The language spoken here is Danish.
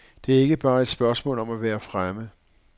Det er ikke bare et spørgsmål om at være fremme.